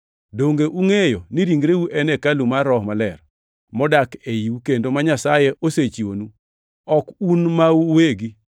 Donge ungʼeyo ni ringreu en hekalu mar Roho Maler modak eiu kendo ma Nyasaye osechiwonu? Ok un mau uwegi;